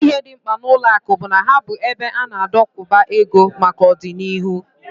Otu ihe dị mkpa n'ụlọakụ bụ na ha bụ ebe a na-adokwuba ego maka ọdịnihu